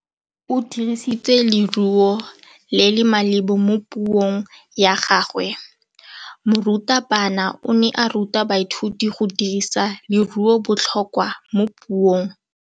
O dirisitse lerêo le le maleba mo puông ya gagwe. Morutabana o ne a ruta baithuti go dirisa lêrêôbotlhôkwa mo puong.